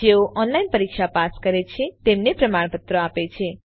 જેઓ ઓનલાઇન પરીક્ષા પાસ કરે છે તેમને પ્રમાણપત્ર આપે છે